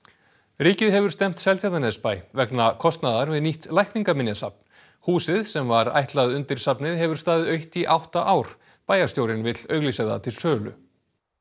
ríkið hefur stefnt Seltjarnarnesbæ vegna kostnaðar við nýtt Læknaminjasafn húsið sem var ætlað undir safnið hefur staðið autt í átta ár bæjarstjórinn vill auglýsa það til sölu